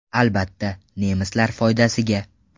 Albatta, nemislar foydasiga!